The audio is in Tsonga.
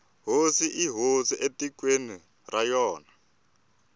hosi i hosi etikweni ra yona